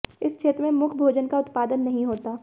इस क्षेत्र में मुख्य भोजन का उत्पादन नहीं होता